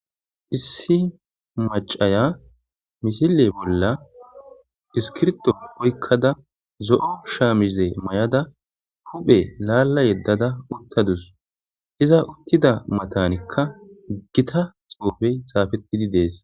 Issi macaya misile bolla iskirto oykkada zo7o shaamize may7ada huphe laalla yeddada uttadus iza uttida matanikka gita xoofey saafettidi dees.